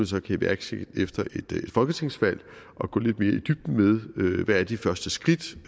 så kan iværksætte efter et folketingsvalg og gå lidt mere i dybden med hvad de første skridt